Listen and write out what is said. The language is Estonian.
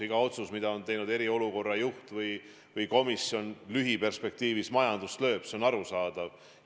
Iga otsus, mida on teinud eriolukorra juht või komisjon, lühiperspektiivis majandust lööb, see on arusaadav.